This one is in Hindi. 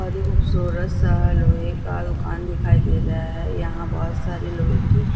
बहुत ही खूबसूरत सा लोहे का दुकान दिखाई दे रहा है। यहाँ बहुत सारी लोहे की--